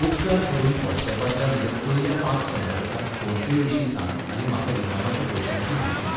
उपकार करून व्हॉट्सऍपांतल्या म्हज्या पयल्या पांच संपर्कांक फोनपेविशीं सांग आनी म्हाका इनामाच्या पयशांची म्हायती दी.